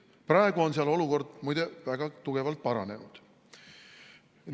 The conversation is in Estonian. Praegu on seal olukord, muide, väga tugevalt paranenud.